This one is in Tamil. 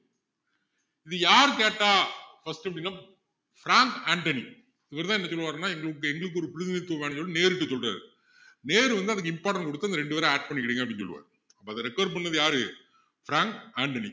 இதை யாரு கேட்டா first அப்படின்னா ஃப்ரங்க் அன்டணி இவருதான் என்ன சொல்லுவாருன்னா எங்க~எங்களுக்கு ஒரு பிரதிநிதித்துவம் வேணும்ன்னு சொல்லி நேருகிட்ட சொல்றாரு நேரு வந்து அதுக்கு important குடுத்து அந்த ரெண்டு பேரை add பண்ணிக்கிடுங்க அப்படின்னு சொல்லுவாரு இப்போ அதை require பண்ணினது யாரு ஃப்ரங்க் அன்டணி